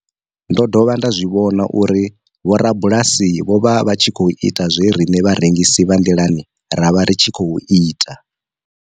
Ndo dovha nda zwi vhona uri vhorabulasi vho vha vha tshi khou ita zwe riṋe vharengisi vha nḓilani ra vha ri tshi khou ita.